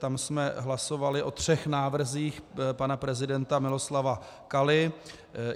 Tam jsme hlasovali o třech návrzích pana prezidenta Miloslava Kaly.